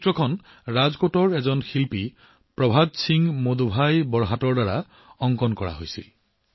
এই ছবিখন ৰাজকোটৰ শিল্পী প্ৰভাত সিং মোদভাই বৰহাটে নিৰ্মাণ কৰিছিল